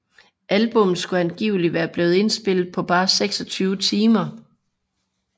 Albummet skulle angiveligt være blevet indspillet på bare 26 timer